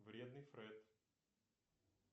вредный фред